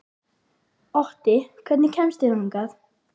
Otti, hvernig kemst ég þangað?